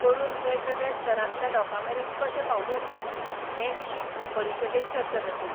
करून वेगवेगळ्या स्तरांतल्या लोकां मेरेन कशें पावूं येता हे विशीं परिशदेंत चर्चा जातली.